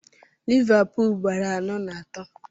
Livapul gbara anọ na atọ